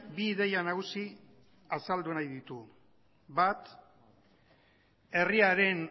bi ideia nagusi azaldu nahi ditugu bat herriaren